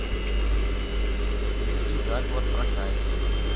включи заговор проказниц